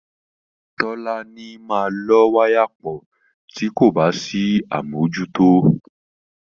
Tọ́láni máa lọ́ wáyà pọ̀ tí kò bá sí àmójútó.